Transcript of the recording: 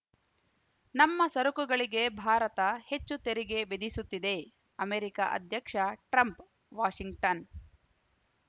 ನಮ್ಮ ಸರಕುಗಳಿಗೆ ಭಾರತ ಹೆಚ್ಚು ತೆರಿಗೆ ವಿಧಿಸುತ್ತಿದೆ ಅಮೆರಿಕ ಅಧ್ಯಕ್ಷ ಟ್ರಂಪ್‌ ವಾಷಿಂಗ್ಟನ್‌